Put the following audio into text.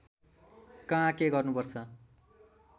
कहाँ के गर्नुपर्छ